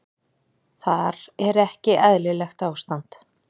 Þar er ekki eðlilegt ástand.